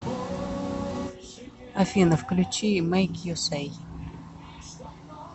афина включи мэйк ю сэй